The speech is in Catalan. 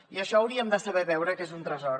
i això ho hauríem de saber veure que és un tresor